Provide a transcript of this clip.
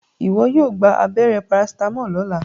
iwọ yóò gbà abéré paracetamol lọla!